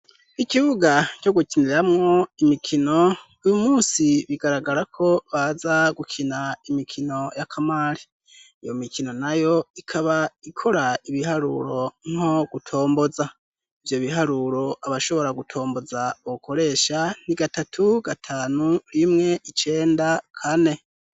Ikibuga co gukiniramwo imikino uyu musi bigaragara ko baza gukina imikino y'akamari, iyo mikino nayo ikaba ikora ibiharuro nko gutomboza, ivyo biharuro abashobora gutomboza bokoresha ni gatatu, gatanu, rimwe, icenda, kane.